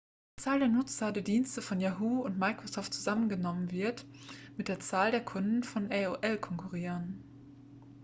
die zahl der nutzer der dienste von yahoo und microsoft zusammengenommen wird mit der zahl der kunden von aol konkurrieren